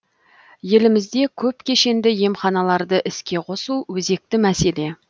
елімізде көпкешенді емханаларды іске қосу өзекті мәселе